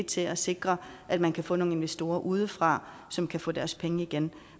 til at sikre at man kan få nogle investorer udefra som kan få deres penge igen